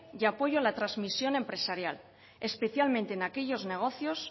y apoyo a la transmisión empresarial especialmente en aquellos negocios